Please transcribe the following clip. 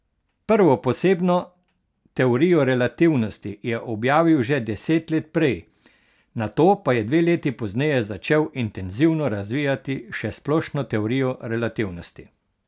Prvo, posebno teorijo relativnosti, je objavil že deset let prej, nato pa je dve leti pozneje začel intenzivno razvijati še splošno teorijo relativnosti.